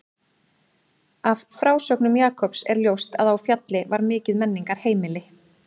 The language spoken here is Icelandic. Af frásögnum Jakobs er ljóst að á Fjalli var mikið menningarheimili.